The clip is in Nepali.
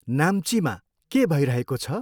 नाम्चीमा के भइरहेको छ?